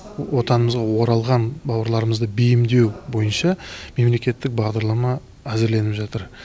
отанымызға оралған бауырларымызды бейімдеу бойынша мемлекеттік бағдарлама әзірленіп жатыр